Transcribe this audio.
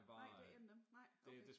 Nej det ikke en af dem nej okay